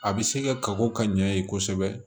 A bɛ se ka kago ka ɲɛ kosɛbɛ